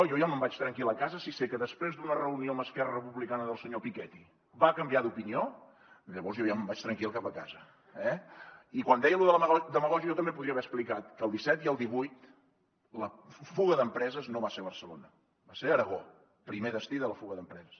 jo ja me’n vaig tranquil a casa si sé que després d’una reunió amb esquerra republicana el senyor piketty va canviar d’opinió llavors jo ja me’n vaig tranquil cap a casa eh i quan deia lo de la demagògia jo també podria haver explicat que el disset i el divuit la fuga d’empreses no va ser a barcelona va ser a aragó primer destí de la fuga d’empreses